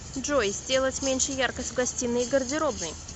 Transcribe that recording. джой сделать меньше яркость в гостиной и гардеробной